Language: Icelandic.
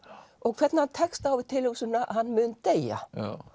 og hvernig hann tekst á við tilhugsunina að hann mun deyja